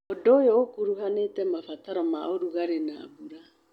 ũndũ ũyũ ũkuruhanĩtie mabataro ma ũrugarĩ na mbura.